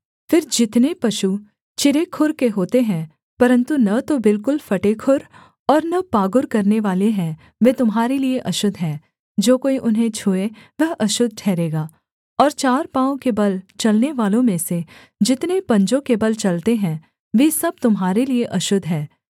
फिर जितने पशु चिरे खुर के होते हैं परन्तु न तो बिलकुल फटे खुर और न पागुर करनेवाले हैं वे तुम्हारे लिये अशुद्ध हैं जो कोई उन्हें छूए वह अशुद्ध ठहरेगा